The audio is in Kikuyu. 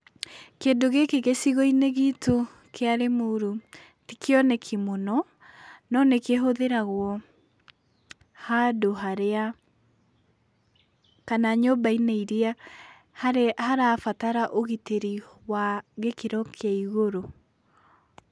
Kĩndũ gĩkĩ gĩcigo-inĩ gitũ kĩa Limuru ti kĩoneki mũno, no nĩkĩhũthĩragwo handũ harĩa kana nyumba-inĩ iria harabatara ũgitĩri wa gĩkĩro kĩa igũrũ.